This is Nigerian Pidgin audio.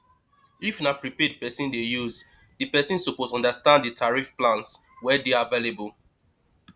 if na prepaid person dey use di person suppose understand di tarrif plans wey dey available